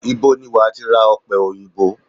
Ibo ni wàá ti ra ọ̀pẹ òyìnbó?